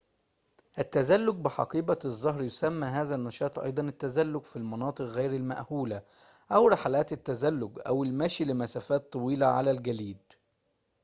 التزلج بحقيبة الظهر يسمى هذا النشاط أيضاً التزلج في المناطق غير المأهولة أو رحلات التزلج أو المشي لمسافات طويلة على الجليد